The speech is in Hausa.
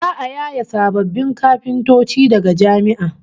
Za'a yaye sababbin kafintoci daga jami'a